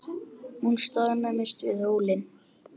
Hún staðnæmist við hólinn.